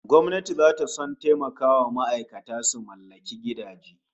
Gwamnati zata son taimakawa ma'aikata su mallaki gidaje